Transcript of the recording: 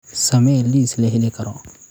samee liis la heli karo